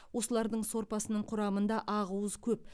осылардың сорпасының құрамында ақуыз көп